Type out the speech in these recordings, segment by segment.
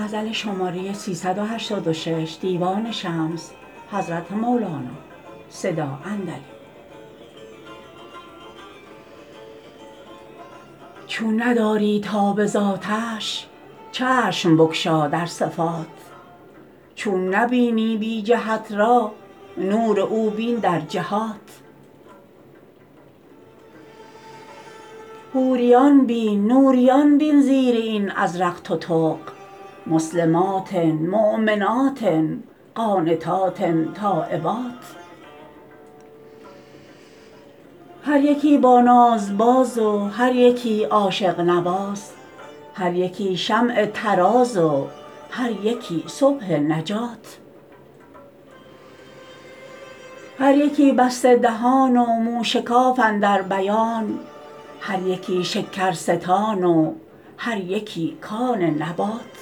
چون نداری تاب دانش چشم بگشا در صفات چون نبینی بی جهت را نور او بین در جهات حوریان بین نوریان بین زیر این ازرق تتق مسلمات مؤمنات قانتات تایبات هر یکی با ناز باز و هر یکی عاشق نواز هر یکی شمع طراز و هر یکی صبح نجات هر یکی بسته دهان و موشکاف اندر بیان هر یکی شکرستان و هر یکی کان نبات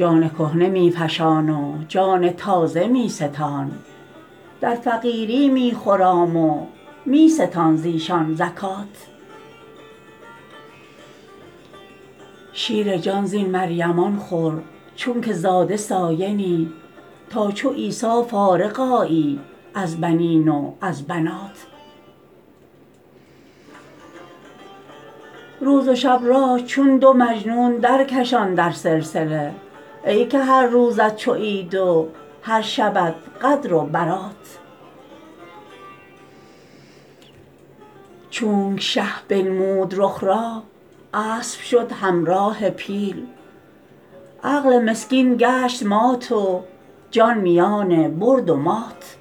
جان کهنه می فشان و جان تازه می ستان در فقیری می خرام و می ستان ز ایشان زکات شیر جان زین مریمان خور چونک زاده ثاینی تا چو عیسی فارغ آیی از بنین و از بنات روز و شب را چون دو مجنون درکشان در سلسله ای که هر روزت چو عید و هر شبت قدر و برات چونک شه بنمود رخ را اسب شد همراه پیل عقل مسکین گشت مات و جان میان برد و مات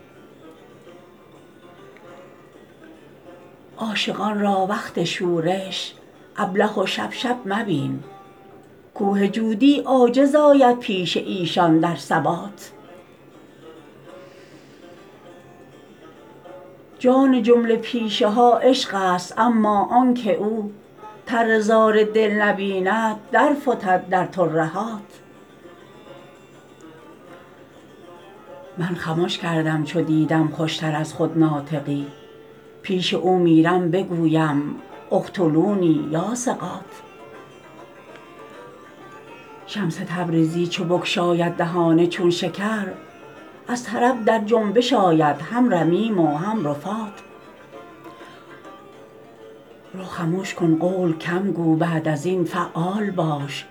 عاشقان را وقت شورش ابله و شپ شپ مبین کوه جودی عاجز آید پیش ایشان در ثبات جان جمله پیشه ها عشق ست اما آنک او تره زار دل نبیند درفتد در ترهات من خمش کردم چو دیدم خوش تر از خود ناطقی پیش او میرم بگویم اقتلونی یا ثقات شمس تبریزی چو بگشاید دهان چون شکر از طرب در جنبش آید هم رمیم و هم رفات رو خمش کن قول کم گو بعد از این فعال باش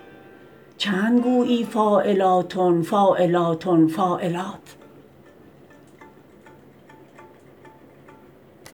چند گویی فاعلاتن فاعلاتن فاعلات